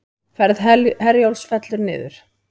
Ferð Herjólfs fellur niður